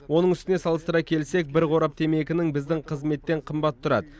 оның үстіне салыстыра келсек бір қорап темекінің біздің қызметтен қымбат тұрады